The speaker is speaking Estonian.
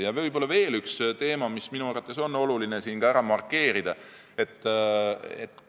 Võib-olla veel üks teema, mida minu arvates on oluline siin markeerida.